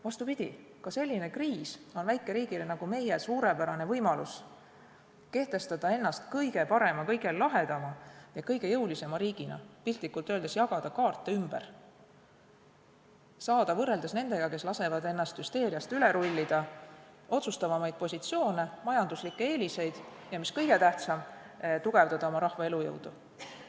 Vastupidi, ka selline kriis on väikeriigile nagu meie suurepärane võimalus kehtestada ennast kõige parema, kõige lahedama ja kõige jõulisema riigina, piltlikult öeldes jagada kaarte ümber, saada võrreldes nendega, kes lasevad hüsteerial endast üle rullida, otsustavamaid positsioone, majanduslikke eeliseid, ja mis kõige tähtsam, tugevdada oma rahva elujõudu.